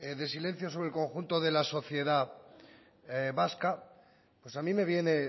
de silencio sobre el conjunto de la sociedad vasca pues a mí me viene